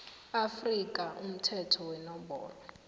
afrika umthetho wenomboro